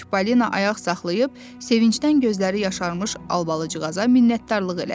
Çipollino ayaq saxlayıb, sevincdən gözləri yaşarmış Albalıcığaza minnətdarlıq elədi.